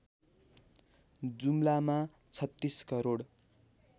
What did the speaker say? जुम्लामा ३६ crore